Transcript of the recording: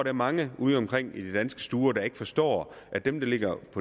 er mange udeomkring i de danske stuer der ikke forstår at dem der ligger